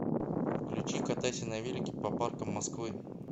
включи катайся на велике по паркам москвы